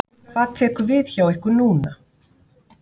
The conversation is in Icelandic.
Hvað tekur við hjá ykkur núna?